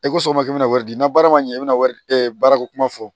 E ko sɔngɔma k'i bɛna wari di na baara ma ɲɛ i bɛna wari baarako kuma fɔ